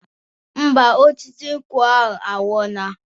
Ḿbà, osisi nkwụ anwụola